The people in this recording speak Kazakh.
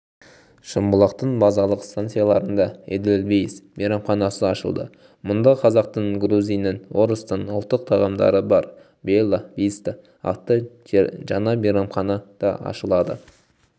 шымбұлақтың базалық станцияларында эдельвейс мейрамханасы ашылды мұнда қазақтың грузиннің орыстың ұлттық тағамдары бар белла виста атты жаңамейрамхана да ашылады